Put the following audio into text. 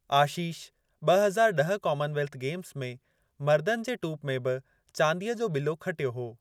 आशीष ब॒ हज़ार ड॒ह कामनवेल्थि गेम्स में मर्दनि जे टूप में बि चांदीअ जो ॿिलो खटियो हो।